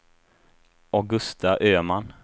Augusta Öhman